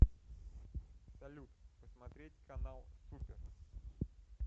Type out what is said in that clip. салют посмотреть канал супер